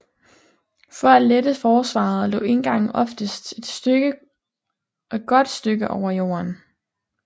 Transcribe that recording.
For at lette forsvaret lå indgangen oftest et godt stykke over jorden